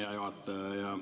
Hea juhataja!